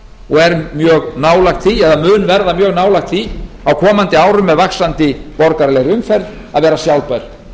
og er mjög nálægt því eða mun verða mjög nálægt því á komandi árum með vaxandi borgaralegri umferð að vera sjálfbær